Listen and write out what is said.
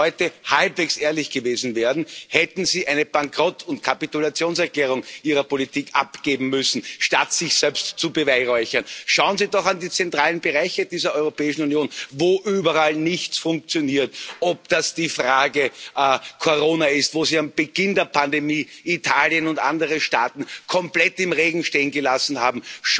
Wenn Sie heute halbwegs ehrlich gewesen wären, hätten Sie eine Bankrott und Kapitulationserklärung Ihrer Politik abgeben müssen, statt sich selbst zu beweihräuchern. Schauen Sie doch an die zentralen Bereiche dieser Europäischen Union, wo überall nichts funktioniert, ob das die Frage Corona ist, wo Sie zu Beginn der Pandemie Italien und andere Staaten komplett im Regen stehen gelassen haben.